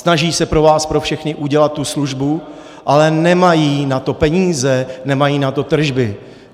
Snaží se pro vás pro všechny udělat tu službu, ale nemají na to peníze, nemají na to tržby.